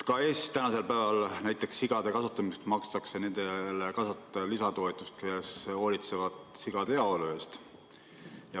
Ka Eestis tänasel päeval näiteks sigade kasvatamisel makstakse nendele kasvatajatele lisatoetust, kes hoolitsevad sigade heaolu eest.